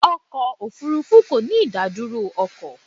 Ọkọ̀ òfúrúfú kò ní ìdádúró ọkọ̀.